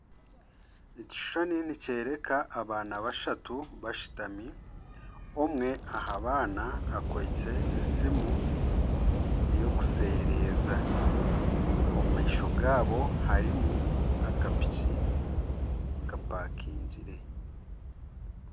Ekishushani nikyoreka abaana bashatu bashutami omwe aha baana akwaitse esimu eyokusereeza, omu maisho gaabo harimu akapiki kapakingire